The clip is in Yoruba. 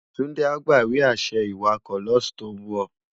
Tunde á gbá iwe-ašẹ iwákò lòs tó n bò